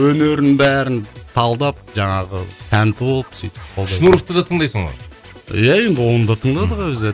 өнерін бәрін талдап жаңағы тәнті болып сөйтіп шнуровты да тыңдайсың ғой иә енді оны да тыңдадық өзі де